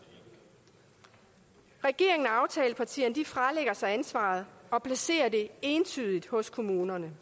regeringen og aftalepartierne fralægger sig ansvaret og placerer det entydigt hos kommunerne